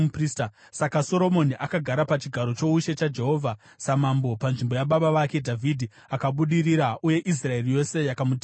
Saka Soromoni akagara pachigaro choushe chaJehovha samambo panzvimbo yababa vake Dhavhidhi. Akabudirira uye Israeri yose yakamuteerera.